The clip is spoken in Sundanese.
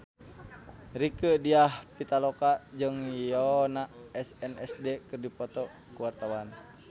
Rieke Diah Pitaloka jeung Yoona SNSD keur dipoto ku wartawan